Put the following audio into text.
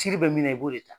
Ci bɛ min na i b'o de ta